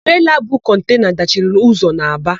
Treela bu kọntena dachiri ụzọ n'Aba.